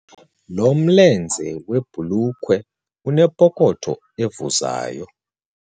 Lo mlenze webhulukhwe unepokotho evuzayo.